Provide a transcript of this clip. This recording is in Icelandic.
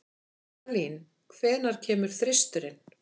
Eyjalín, hvenær kemur þristurinn?